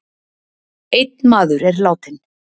Einn maður er látinn